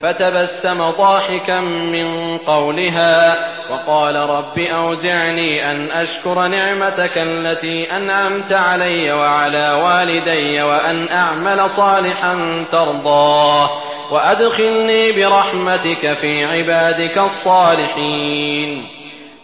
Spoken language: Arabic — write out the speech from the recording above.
فَتَبَسَّمَ ضَاحِكًا مِّن قَوْلِهَا وَقَالَ رَبِّ أَوْزِعْنِي أَنْ أَشْكُرَ نِعْمَتَكَ الَّتِي أَنْعَمْتَ عَلَيَّ وَعَلَىٰ وَالِدَيَّ وَأَنْ أَعْمَلَ صَالِحًا تَرْضَاهُ وَأَدْخِلْنِي بِرَحْمَتِكَ فِي عِبَادِكَ الصَّالِحِينَ